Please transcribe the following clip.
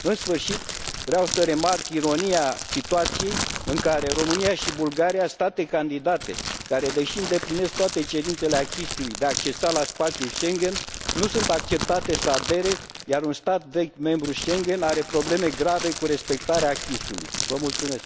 În sfârșit, vreau să remarc ironia situației în care România și Bulgaria, state candidate care, deși îndeplinesc toate cerințele acquis ului de a accesa la spațiul Schengen, nu sunt acceptate să adere, iar un stat vechi, membru Schengen, are probleme grave cu respectarea acquis ului.